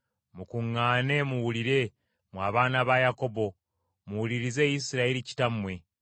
Mukuŋŋaane muwulire, mwe abaana ba Yakobo, muwulirize Isirayiri kitammwe.